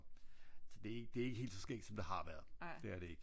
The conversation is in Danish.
Så det det er ikke helt så skægt som det har været det er det ikke så øh